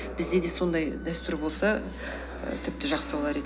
бізде де сондай дәстүр болса і тіпті жақсы болар еді